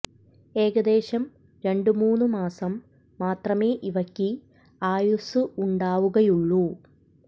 ഏകദേശം രണ്ടു മൂന്നു മാസം മാത്രമേ ഇവയ്ക്ക് ആയുസ്സ് ഉണ്ടാവുകയുള്ളൂ